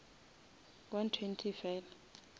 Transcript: one twenty fela